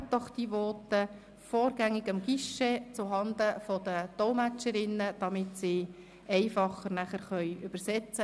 geben Sie diese doch vorgängig zuhanden der Dolmetscherinnen am Guichet ab, damit diese dann einfacher dolmetschen können.